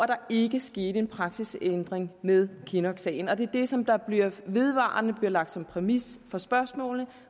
der ikke skete en praksisændring med kinnocksagen men det er det som vedvarende bliver lagt som præmis for spørgsmålene